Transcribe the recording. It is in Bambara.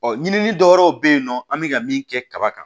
Ɔ ɲini dɔwɛrɛ bɛ yen nɔ an bɛ ka min kɛ kaba kan